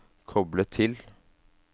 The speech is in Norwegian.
koble til